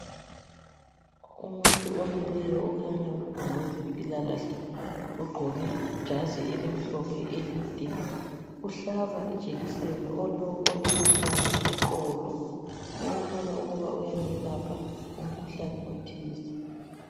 Umuntu omileyo okhanya ngowezempilakahle ogqoke ijazi elimhlophe elide. Uhlaba ijekiseni olele phansi eqolo okukhanya ukuba uyamelapha umkhuhlane othize.